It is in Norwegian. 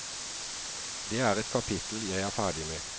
Det er et kapittel jeg er ferdig med.